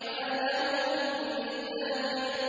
مَّا لَهُ مِن دَافِعٍ